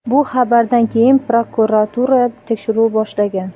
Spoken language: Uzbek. Bu xabardan keyin prokuratura tekshiruv boshlagan.